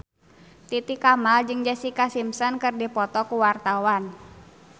Titi Kamal jeung Jessica Simpson keur dipoto ku wartawan